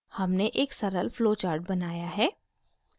हमने एक सरल flowchart बनाया है